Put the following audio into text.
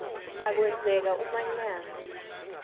a kwenzeka umanyano